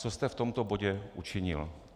Co jste v tomto bodě učinil.